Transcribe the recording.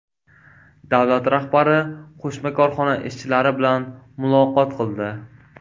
Davlat rahbari qo‘shma korxona ishchilari bilan muloqot qildi.